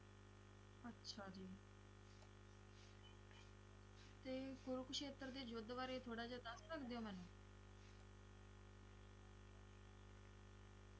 ਅੱਛਾ ਜੀ ਤੇ ਕੁਰੂਕਸੇਤਰ ਦੇ ਯੁੱਧ ਵਾਰੇ ਥੋੜਾ ਜਾ ਦਸ ਸਕਦੇ ਓ ਮੈਨੂੰ